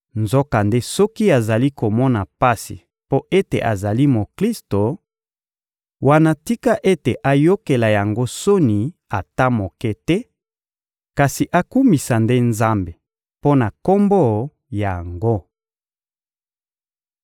nzokande soki azali komona pasi mpo ete azali Moklisto, wana tika ete ayokela yango soni ata moke te, kasi akumisa nde Nzambe mpo na Kombo yango.